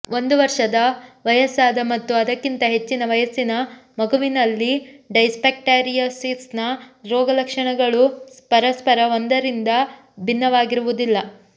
ಒಂದು ವರ್ಷದ ವಯಸ್ಸಾದ ಮತ್ತು ಅದಕ್ಕಿಂತ ಹೆಚ್ಚಿನ ವಯಸ್ಸಿನ ಮಗುವಿನಲ್ಲಿ ಡೈಸ್ಬ್ಯಾಕ್ಟೀರಿಯೊಸಿಸ್ನ ರೋಗಲಕ್ಷಣಗಳು ಪರಸ್ಪರ ಒಂದರಿಂದ ಭಿನ್ನವಾಗಿರುವುದಿಲ್ಲ